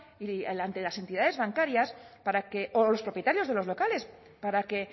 y ante las entidades bancarias para que o los propietarios de los locales para que